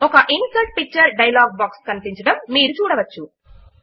ఒక insert picture dialogue box కనిపించడము మీరు చూడవచ్చు